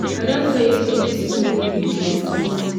i don tell you say dis thing wey you dey no good